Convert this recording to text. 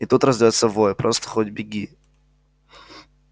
и тут раздаётся вой просто хоть беги